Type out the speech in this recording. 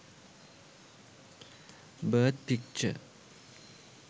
birth picture